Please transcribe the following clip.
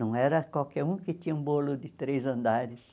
Não era qualquer um que tinha um bolo de três andares.